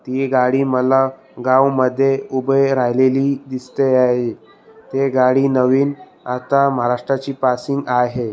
ही गाडी मला गाव मध्ये उभे राहिलीली दिसते आहे ही गाडी नवीन आता महाराष्ट्राची पासिंग आहे.